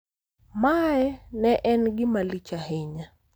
Ma ne en gima lich ahinya.